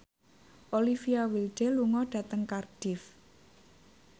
Olivia Wilde lunga dhateng Cardiff